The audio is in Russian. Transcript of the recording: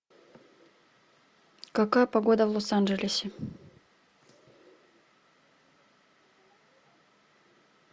какая погода в лос анджелесе